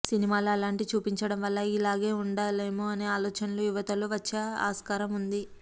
సినిమాలో అలాంటి చూపించడం వల్ల ఇలాగే ఉండాలేమో అనే ఆలోచనలు యువతలో వచ్చే ఆస్కారం ఉంది